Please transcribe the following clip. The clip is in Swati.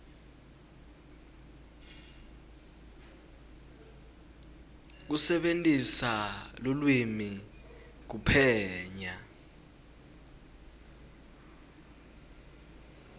kusebentisa lulwimi kuphenya